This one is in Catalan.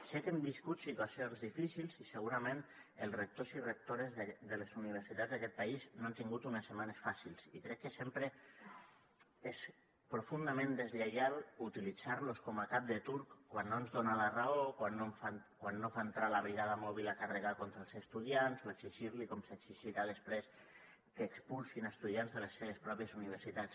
sé que hem viscut situacions difícils i segurament els rectors i rectores de les universitats d’aquest país no han tingut unes setmanes fàcils i crec que sempre és profundament deslleial utilitzar los com a cap de turc quan no ens donen la raó quan no fan entrar la brigada mòbil a carregar contra els estudiants o exigir los com s’exigirà després que expulsin estudiants de les seves pròpies universitats